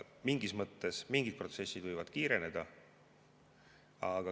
Mingis mõttes võivad mingid protsessid kiireneda.